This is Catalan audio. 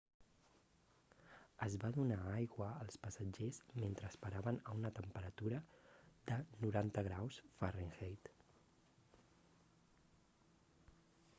es va donar aigua als passatgers mentre esperaven a una temperatura de 90 graus f